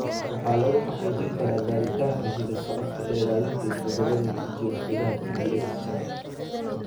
Waxaa lagu xaqiijin karaa baaritaanka hidda-socodka ee raadinta isbeddellada ku jira hiddaha TBX shan .